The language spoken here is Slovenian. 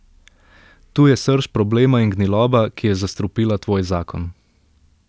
Tu je srž problema in gniloba, ki je zastrupila tvoj zakon.